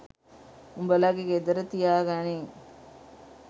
උබලගෙ ගෙදර තියාගනින්